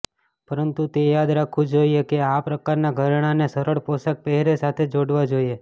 પરંતુ એ યાદ રાખવું જોઈએ કે આ પ્રકારના ઘરેણાંને સરળ પોશાક પહેરે સાથે જોડવા જોઈએ